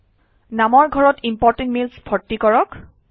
নামৰ ঘৰত important mails ভৰ্তি কৰক